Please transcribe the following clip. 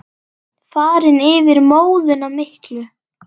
Farinn yfir móðuna miklu.